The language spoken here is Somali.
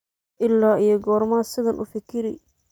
Ila yo korma sidhan ufikiri.